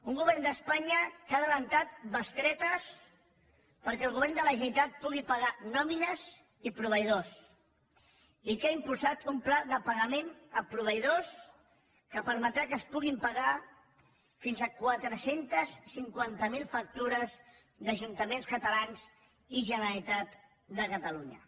un govern d’espanya que ha avançat bestretes perquè el govern de la generalitat pugui pagar nòmines i proveïdors i que ha impulsat un pla de pagament a proveïdors que permetrà que es puguin pagar fins a quatre cents i cinquanta miler factures d’ajuntaments catalans i generalitat de catalunya